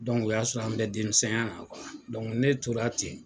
o y'a sɔrɔ an bɛ denmisɛnya na ne tora ten.